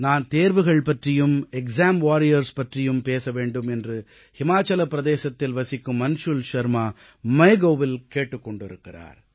நான் தேர்வுகள் பற்றியும் எக்ஸாம் வாரியர்ஸ் பற்றியும் பேச வேண்டும் என்று ஹிமாச்சலப் பிரதேசத்தில் வசிக்கும் அன்ஷுல் ஷர்மா MyGovஇல் கேட்டுக் கொண்டிருக்கிறார்